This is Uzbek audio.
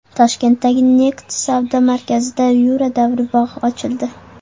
Toshkentdagi Next savdo markazida Yura davri bog‘i ochildi.